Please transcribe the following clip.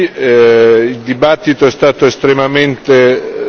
Innanzitutto un ringraziamento per la discussione di oggi.